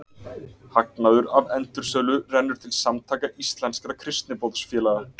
Hagnaður af endursölu rennur til Samtaka íslenskra kristniboðsfélaga.